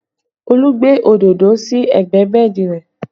Olú gbé òdodo sí ẹgbẹ́ bẹ́ẹ̀dì rẹ